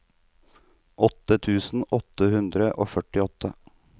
åttien tusen åtte hundre og førtiåtte